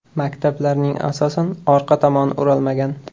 Maktablarning asosan, orqa tomoni o‘ralmagan.